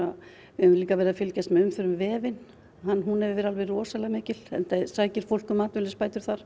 við höfum líka verið að fylgjast með umferð um vefinn hún hefur verið alveg rosalega mikil enda sækir fólk um atvinnuleysisbætur þar